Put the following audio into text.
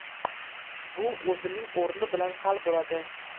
Bu o‘zining o‘rni bilan hal bo‘ladi.